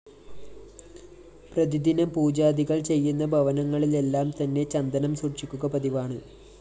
പ്രതിദിനം പൂജാദികള്‍ ചെയ്യുന്ന ഭവനങ്ങളിലെല്ലാം തന്നെ ചന്ദനം സൂക്ഷിക്കുക പതിവാണ്